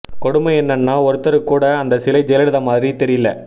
கொடுமை என்னன்னா ஒருத்தருக்கு கூட அந்த சிலை ஜெயலலிதா மாறி தெரியல